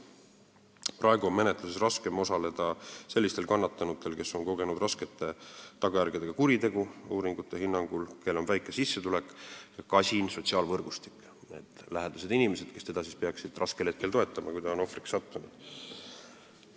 Praegu on uuringute hinnangul menetluses raskem osaleda sellistel kannatanutel, kes on kogenud raskete tagajärgedega kuritegu, kellel on väike sissetulek ja kasin sotsiaalvõrgustik ehk vähe lähedasi inimesi, kes peaksid teda toetama raskel hetkel, kui ta on ohvriks langenud.